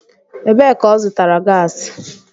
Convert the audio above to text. Ebee ka ọ zụtara gasi?